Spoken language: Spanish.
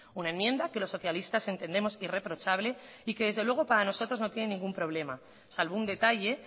una enmienda que los socialistas entendemos irreprochable y que desde luego para nosotros no tiene ningún problema salvo un detalle